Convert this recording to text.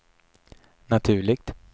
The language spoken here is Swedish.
naturligt